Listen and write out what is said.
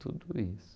Tudo isso.